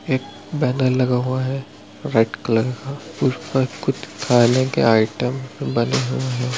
एक बैनर लगा हुआ है वाइट कलर का उस पर कुछ खाने के आइटम बने हुए है।